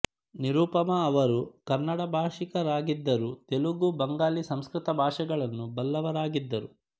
ನಿರುಪಮಾ ಅವರು ಕನ್ನಡ ಭಾಷಿಕರಾಗಿದ್ದರೂ ತೆಲುಗು ಬಂಗಾಳಿ ಸಂಸ್ಕೃತ ಭಾಷೆಗಳನ್ನು ಬಲ್ಲವರಾಗಿದ್ದರು